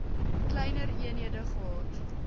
kleiner eenhede gehad